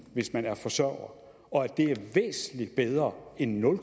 hvis man er forsørger og at det er væsentlig bedre end nul